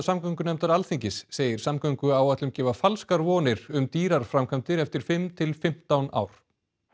samgöngunefndar Alþingis segir samgönguáætlun gefa falskar vonir um dýrar framkvæmdir eftir fimm til fimmtán ár